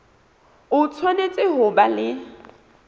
o tshwanetse ho ba le